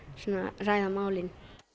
ræða málin